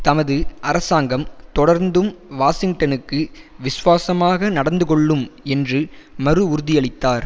தமது அரசாங்கம் தொடர்ந்தும் வாஷிங்டனுக்கு விசுவாசமாக நடந்து கொள்ளும் என்று மறு உறுதியளித்தார்